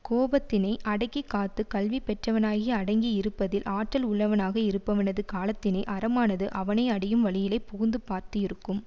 கோபத்தினை அடக்கி காத்து கல்வி பெற்றவனாகிய அடங்கி இருப்பதில் ஆற்றல் உள்ளவனாக இருப்பவனது காலத்தினை அறமானது அவனை அடையும் வழியிலே புகுந்து பார்த்து இருக்கும்